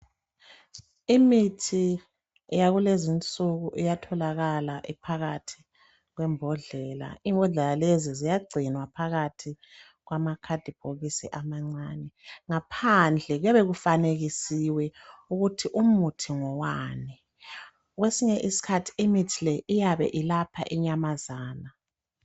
Imithi yakulezinsuku iyatholakala iphakathi kwembodlela. Imbodlela lezi ziyagcinwa phakathi kwama cardbhokisi amancane. Ngaphandle kuyabe kufanekisiwe ukuthi umuthi ngowani kwesinye isikhathi imithi le iyabe ilapha inyamazana.